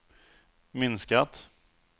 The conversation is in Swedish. minskat